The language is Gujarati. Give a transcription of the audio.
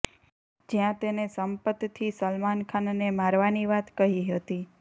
જ્યાં તેને સંપતથી સલમાન ખાનને મારવાની વાત કહી હતી